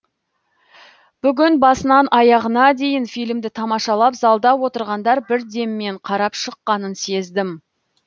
бүгін басынан аяғына дейін фильмді тамашалап залда отырғандар бір деммен қарап шыққанын сездім